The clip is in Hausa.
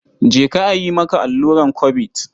Je ka a yi maka alluran Kobid.